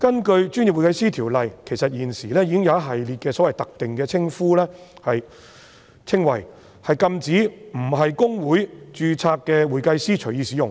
其實，《條例》已訂明一系列特定的稱謂，禁止非公會註冊的會計師隨意使用。